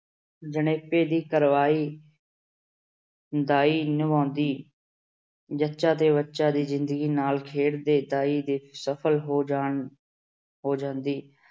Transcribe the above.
ਜਣੇਪੇ ਦੀ ਕਾਰਵਾਈ ਦਾਈ ਨਿਭਾਉਂਦੀ। ਜੱਚਾ ਤੇ ਬੱਚਾ ਦੀ ਜਿੰਦਗੀ ਨਾਲ ਖੇਡਦੀ ਦਾਈ ਦੇ ਸਫਲ ਹੋ ਜਾਣ ਅਹ ਸਫਲ ਹੋ ਜਾਂਦੀ।